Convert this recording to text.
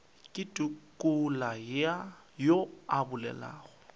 ke tukula yo a bolelago